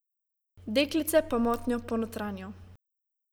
Deklice pa motnjo ponotranjijo.